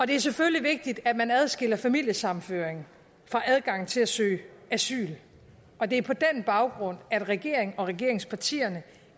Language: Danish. det er selvfølgelig vigtigt at man adskiller familiesammenføring fra adgangen til at søge asyl og det er på den baggrund at regeringen og regeringspartierne